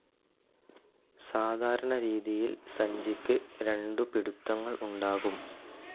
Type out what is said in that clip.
സാധാരണ രീതിയിൽ സഞ്ചിക്ക് രണ്ടു പിടുത്തങ്ങൾ ഉണ്ടാകും.